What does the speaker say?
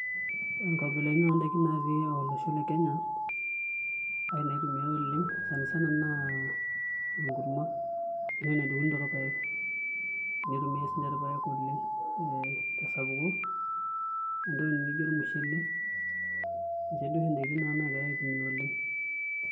Ore nkabilaitin oondaiki naatii olosho le Kenya arashu inaitumiai oleng' sana sana naa enkurma enoshi naidong'uni torpaek nitumiai siinche irpaek oleng' ee tesapuko, entoki nijio ormushele ninche duo oshi ndaiki naagirai aitumia oleng'.